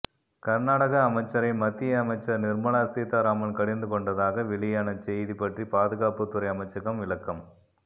கர்நாடக அமைச்சரை மத்திய அமைச்சர் நிர்மலா சீதாராமன் கடிந்துகொண்டதாக வெளியான செய்தி பற்றி பாதுகாப்பு துறை அமைச்சகம் விளக்கம்